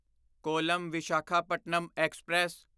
column Visakhapatnam express